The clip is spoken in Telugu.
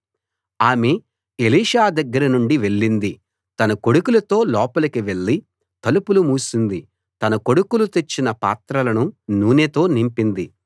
ఆమె ఎలీషా దగ్గరనుండి వెళ్ళింది తన కొడుకులతో లోపలికి వెళ్ళి తలుపులు మూసింది తన కొడుకులు తెచ్చిన పాత్రలను నూనెతో నింపింది